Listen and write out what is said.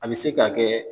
A bɛ se ka kɛ